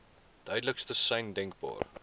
duidelikste sein denkbaar